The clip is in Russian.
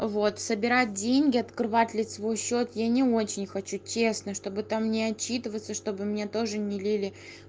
вот собирать деньги открывать лицевой счёт я не очень хочу честно чтобы там не отчитываться чтобы мне тоже не лили